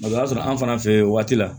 o y'a sɔrɔ an fana fɛ yen waati la